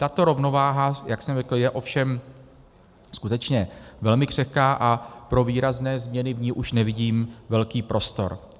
Tato rovnováha, jak jsem řekl, je ovšem skutečně velmi křehká a pro výrazné změny v ní už nevidím velký prostor.